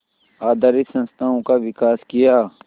आधारित संस्थाओं का विकास किया